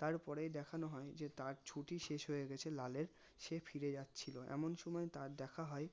তারপরেই দেখানো হয় যে তার ছুটি শেষ হয়ে গেছে লালের সে ফিরে যাচ্ছিলো এমন সময় তার দেখা হয়